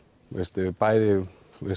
bæði